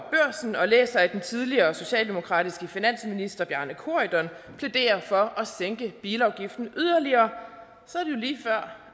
læser at den tidligere socialdemokratiske finansminister bjarne corydon plæderer for at sænke bilafgifterne yderligere